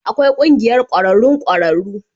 Akwai Ƙungiyar Ƙwararrun Ƙwararru